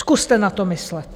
Zkuste na to myslet.